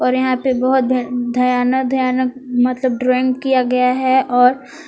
और यहां पे बहुत मतलब ड्राइंग किया गया है और--